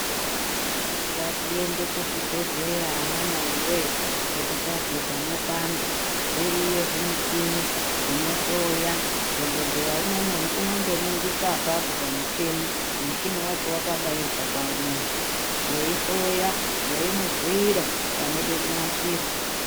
Ngatiende kuzvi bhehleya ana mai wee kuti tazwe pano panda zviriyo zvimi chini zvino hloya dhokoteya unondo ningisa apapo pamu chini muchini wacho wakabairwa pamundu wei hloya weimu bhuira panode kunasirwa.